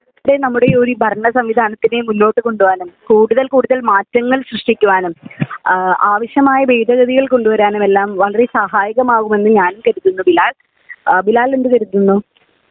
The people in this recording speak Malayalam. നമ്മുടെ ഈ ഭരണ സംവിധാനത്തിനെ മുന്നോട്ട് കൊണ്ടുപോകാനും കൂടുതൽ കൂടുതൽ മാറ്റങ്ങൾ സൃഷ്ടിക്കുവാനും ആവശ്യമായ ഭേദഗതികൾ കൊണ്ടുവരാനും എല്ലാം വളരെ സഹായകമാകുമെന്ന് ഞാൻ കരുതുന്നു ബിലാൽ .ബിലാൽ എന്തു കരുതുന്നു